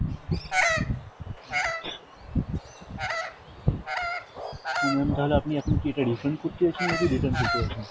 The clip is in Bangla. তো ma'am তাহলে আপনি এখন কি এটা refund করতে চাইছেন নাকি return করতে চাইছেন?